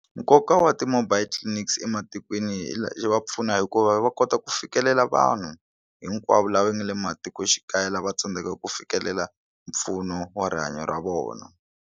Nkoka wa ti mobile clinics ematikweni yi va pfuna hikuva va kota ku fikelela vanhu hinkwavo lava nga le matikoxikaya lava tsandzekaka ku fikelela mpfuno wa rihanyo ra vona.